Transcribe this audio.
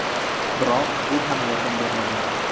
Biroq bu ham yordam bermagan.